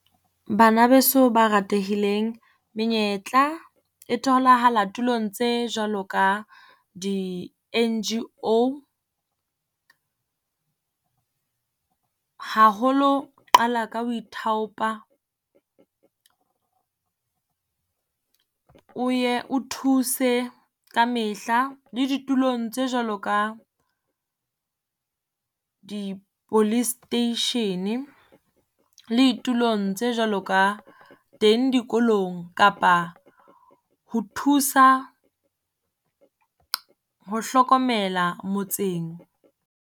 Bana beso ba ratehileng, menyetla e tholahala tulong tse jwalo ka di N_G_O, haholo qala ka ho ithaopa. O ye o thuse ka mehla le ditulong tse jwalo ka di-police station. Le ditulong tse jwalo ka teng dikolong, kapa ho thusa ho hlokomela motseng.